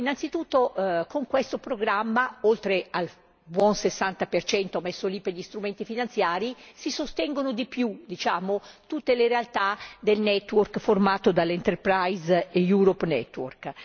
Innanzitutto, con questo programma, oltre al buon 60 percento a favore degli strumenti finanziari, si sostengono di più tutte le realtà del network formato dalle Enterprise Europe network